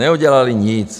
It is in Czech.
Neudělali nic.